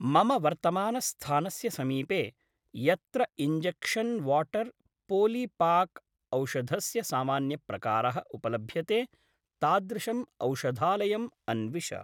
मम वर्तमानस्थानस्य समीपे यत्र इञ्जेक्शन् वाटर् पोलिपाक् औषधस्य सामान्यप्रकारः उपलभ्यते तादृशम् औषधालयम् अन्विष।